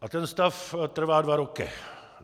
A ten stav trvá dva roky.